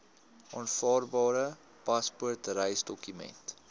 aanvaarbare paspoort reisdokument